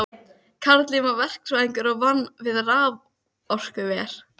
Þá hef ég bara ekki verið sama manneskjan.